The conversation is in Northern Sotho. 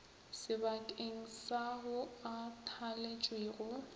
sebakeng sa ao a thaletšwego